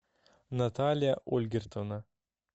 наталья ольгертовна